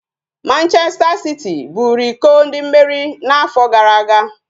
Manchester City buru iko ndị mmeri na-afọ gara aga